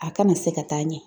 A kana se ka taa ɲɛ